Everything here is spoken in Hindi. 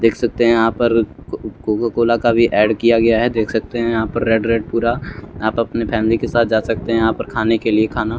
देख सकते हैं यहां पर कोका कोला का भी ऐड किया गया है देख सकते है यहां पर रेड रेड पूरा यहां पे अपने फैमिली के साथ जा सकते हैं यहां पर खाने के लिए खाना--